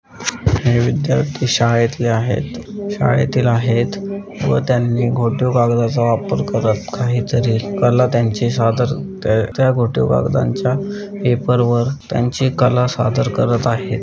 हे विध्यार्थी शाळेतले आहेत शाळेतील आहेत व त्यांही फोटो कागदाच वापर करत काही तरी आहेत काला त्यांचे सादर त्या फोटो कागदांच्या पेपर वर त्यांचे कला सादर करत आहेत.